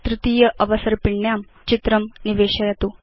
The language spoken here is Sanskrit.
तृतीय अवसर्पिण्यां चित्रं निवेशयतु